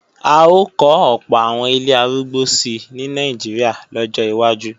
À ó kọ́ ọ̀pọ̀ àwọn ilé arúgbó si ní Nàìjíríà lọ́jọ́ wájú